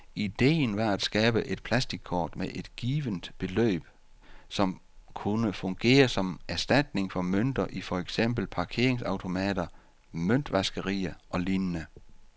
Ideen var at skabe et plastickort med et givent beløb på, som kunne fungere som erstatning for mønter i for eksempel parkeringsautomater, møntvaskerier og lignende.